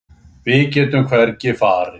Við getum hvergi farið.